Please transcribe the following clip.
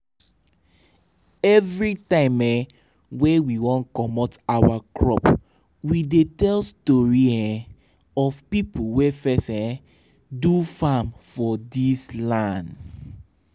every time um wey we wan comot our crop we dey tell story um of people wey first um do farm for this land.